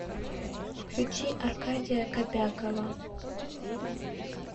включи аркадия кобякова